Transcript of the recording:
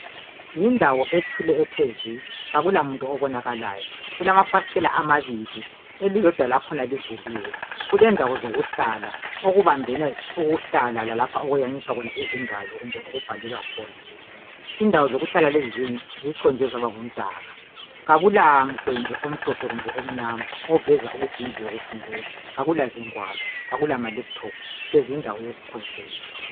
Yindawo ethule ethe zwi akula muntu obonakalayo kulafastela elilodwa lakhona livuliwe kundawo zokuhlala okubambene lapho okuyamiswa khona izingalo kumbe lapho omubhalelwa khona indawo zokuhlala lezi ziconjwe zaba ngumdaka akulamgwembe omhlophe kumbe omnyama kuveza ukuthi indawo yokufundela akulazingwalo akula malaptop hlezi yindawo yokukhonzela